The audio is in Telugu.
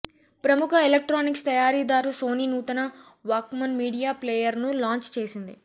ప్రముఖ ఎలక్ట్రానిక్స్ తయారీదారు సోనీ నూతన వాక్మన్ మీడియా ప్లేయర్ను లాంచ్ చేసింది